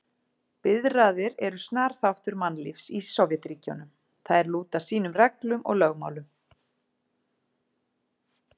Biðraðir eru snar þáttur mannlífs í Sovétríkjunum, þær lúta sínum reglum og lögmálum.